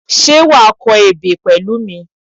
Ṣé wàá kọ ebè pẹ̀lú mi?